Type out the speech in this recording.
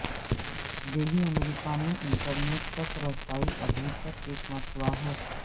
دیہی امریکہ میں انٹرنیٹ تک رسائی ابھی بھی ایک مسئلہ ہے